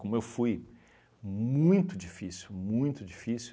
Como eu fui muito difícil, muito difícil,